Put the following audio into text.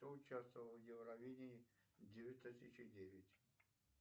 кто участвовал в евровидении две тысячи девять